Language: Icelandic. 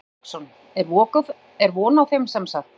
Hafsteinn Hauksson: Er von á þeim semsagt?